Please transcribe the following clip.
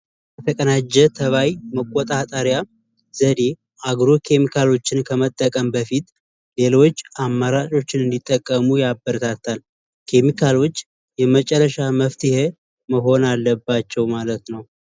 የተቀናጀ ተባይ መቆጣጠር ዘዴ አግሮ ኬሚካሎችን ከመጠቀም በፊት ሌሎች አማራጮችን እንዲጠቀሙ ያበረታታል። ኬሚካሎች የመጨረሻ መፍትሔ መሆን አለባቸው ማለት ነው።